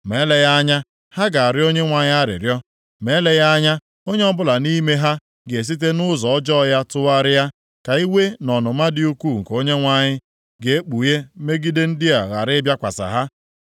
Ma eleghị anya, ha ga-arịọ Onyenwe anyị arịrịọ. Ma eleghị anya onye ọbụla nʼime ha ga-esite nʼụzọ ọjọọ ya tụgharịa, ka iwe na ọnụma dị ukwuu nke Onyenwe anyị ga-ekpughe megide ndị a ghara ịbịakwasị ha.”